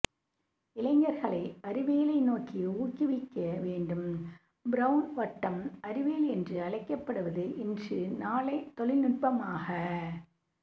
இளைஞர்களை அறிவியலை நோக்கி ஊக்குவிக்க வேண்டும்பிரவுன் வட்டம் அறிவியல் என்று அழைக்கப்படுவது இன்று நாளை தொழில்நுட்பமாக